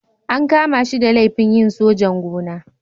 An kama shi da laifin yin sojan-gona.